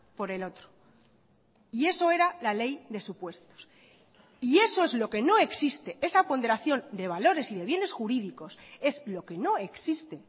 por el otro y eso era la ley de supuestos y eso es lo que no existe esa ponderación de valores y de bienes jurídicos es lo que no existe